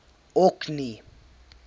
orkney